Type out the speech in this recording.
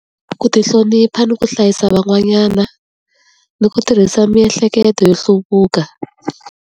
Ku ti hlonipha ni ku hlayisa van'wanyana, ni ku tirhisa miehleketo yo hluvuka.